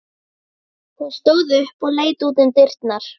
Ég ætlaði einmitt að fara að hringja í þig.